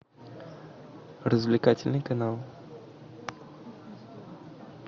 развлекательный канал